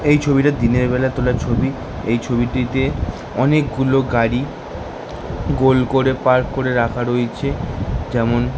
এই ছবিটা দিনের বেলা তোলা ছবি এই ছবিটিতে অনেক গুলো গাড়ি গোল করে পার্ক করা হয়েছে যেমন--